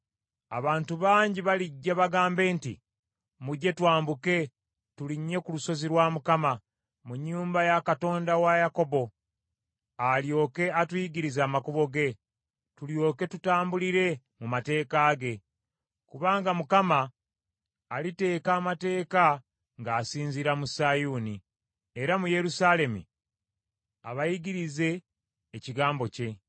Abantu bangi balijja bagambe nti, Mujje twambuke tulinnye ku lusozi lwa Mukama , mu nnyumba ya Katonda wa Yakobo, alyoke atuyigirize amakubo ge, tulyoke tutambulire mu mateeka ge. Kubanga Mukama aliteeka amateeka ng’asinziira mu Sayuuni, era mu Yerusaalemi abayigirize ekigambo kye.